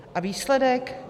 A výsledek?